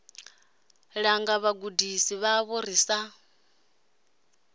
langa vhagudisi vhavho ri sa